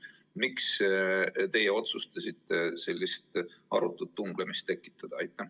Miks teie otsustasite sellise arutu tunglemise tekitada?